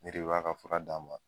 Ne de b'a ka fura d'a ma